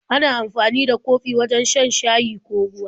Ana amfani da kofi wajen shan shayi ko ruwa.